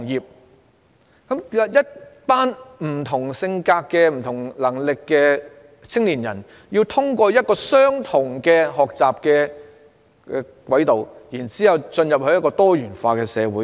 為甚麼擁有不同性格、不同能力的青年人，卻要通過相同的學習軌道進入一個多元化的社會？